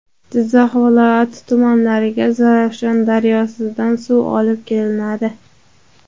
Jizzax viloyati tumanlariga Zarafshon daryosidan suv olib kelinadi.